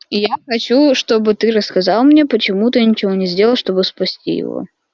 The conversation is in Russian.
я хочу чтобы ты рассказал мне почему ты ничего не сделал чтобы спасти его